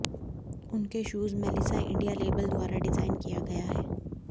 उनके shoes Melissa India label द्वारा design किया गया है